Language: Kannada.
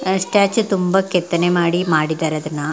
ಆಸ್ಟ್ಯಾಚು ತುಂಬಾ ಕೆತ್ತನೆ ಮಾಡಿ ಮಾಡಿದ್ದಾರೆ ಅದನ್ನ --